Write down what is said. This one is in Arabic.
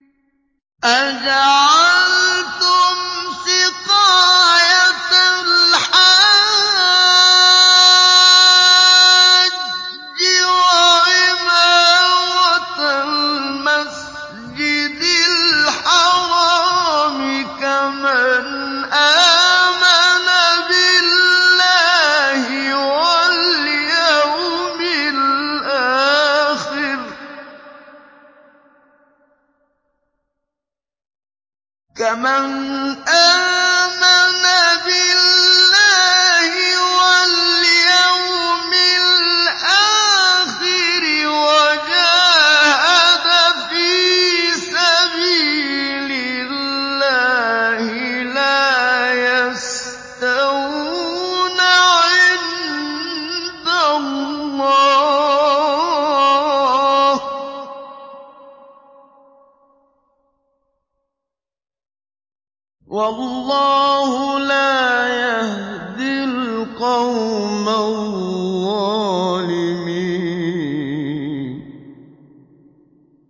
۞ أَجَعَلْتُمْ سِقَايَةَ الْحَاجِّ وَعِمَارَةَ الْمَسْجِدِ الْحَرَامِ كَمَنْ آمَنَ بِاللَّهِ وَالْيَوْمِ الْآخِرِ وَجَاهَدَ فِي سَبِيلِ اللَّهِ ۚ لَا يَسْتَوُونَ عِندَ اللَّهِ ۗ وَاللَّهُ لَا يَهْدِي الْقَوْمَ الظَّالِمِينَ